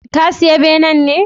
Ka siya benen ne?